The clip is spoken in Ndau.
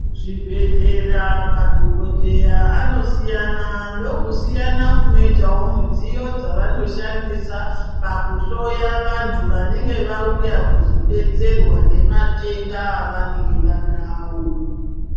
Kuzvibhedhlera madhokodheya anosiyana, ndokusiyana kunoitawo mudziyo dzavanoshandisa, pakuhloya vanthu vanenge vauya kuzodetserwa nematenda avanenge vaanawo.